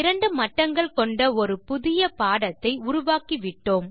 இரண்டு மட்டங்கள் கொண்ட ஒரு புதிய பாடத்தை உருவாக்கிவிட்டோம்